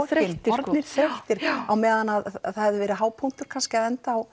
orðnir þreyttir á meðan það hefði verið hápunktur kannski að enda á